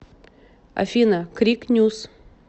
афина крик нюс